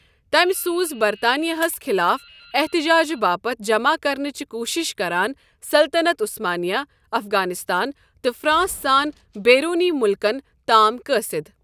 تمہِ سوُزِ برطانیہ ہس خِلاف احتجاجہِ باپت جمع کرنٕچہِ کوٗشش كران سلطنت عُثمانیہ، افغانستان تہٕ فرانس سان بیروُنی مُلكن تام قٲصِد ۔